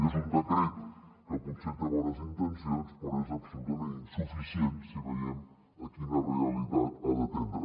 és un decret que potser té bones intencions però és absolutament insuficient si veiem quina realitat ha d’atendre